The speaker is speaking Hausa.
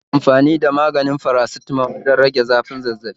Ana amfani da maganin paracetamol wurin rage zafin Zazzabi